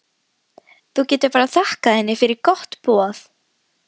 Þú getur bara þakkað henni fyrir gott boð.